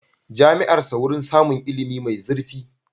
Jami'ar sa wurin samun ilimi mai zurfi.